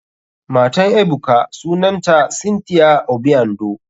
Matan ebuka sunanta cynthia obiando.